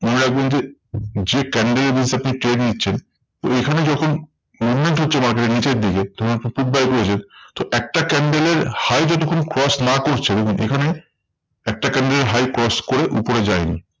যে candle এর basis এ আপনি trade নিচ্ছেন ঐখানে যখন movement হচ্ছে market এ নিচের দিকে তখন আপনি put buy করেছেন। তো একটা candle এর high যতক্ষণ cross না করছে, দেখুন এখানে একটা candle এর high cross করে উপরে যায়নি।